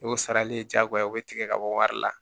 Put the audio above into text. N'o sarali ye jagoya o bɛ tigɛ ka bɔ wari la